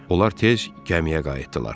Onlar tez gəmiyə qayıtdılar.